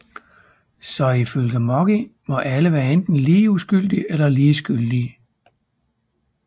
Så ifølge Moggi må alle være enten lige uskyldige eller lige skyldige